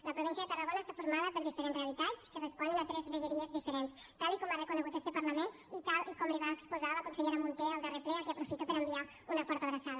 la província de tarragona està formada per diferents realitats que responen a tres vegueries diferents tal com ha reconegut este parlament i tal com li va exposar la consellera munté al darrer ple a qui aprofito per enviar una forta abraçada